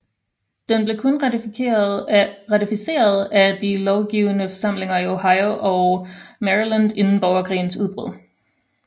Den blev kun ratificeret af de lovgivende forsamlinger i Ohio og Maryland inden borgerkrigens udbrud